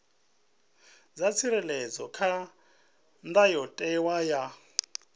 dza tsireledzwa kha ndayotewa ya